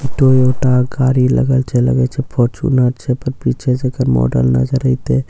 Toyota गाड़ी लगल छे लगए छे फॉर्चूनर छे पर पीछे से एकर मॉडल नजर अइते जेहन --